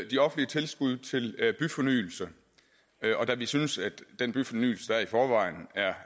de offentlige tilskud til byfornyelse og da vi synes at den byfornyelse der er i forvejen er